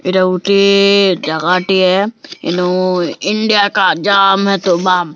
ଏଟା ଗୁଟେ ଜାଗା ଟିଏ --